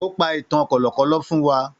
Ó pa ìtàn kọ̀lọ̀kọ̀lọ̀ fún wa.